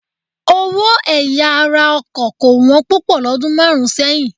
Owó ẹ̀yà ara ọkọ̀ kò wọ́n púpọ̀ lọ́dún márùn-ún sẹ́yìn.